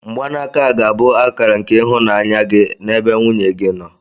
mgbanaka a ga-abụ akara nke ịhụnanya gị n'ebe nwunye gị nọ